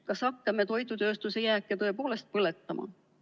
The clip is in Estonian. Kas hakkame toidutööstuse jääke tõepoolest põletama?